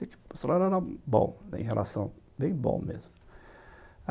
O salário era bom, em relação, bem bom mesmo.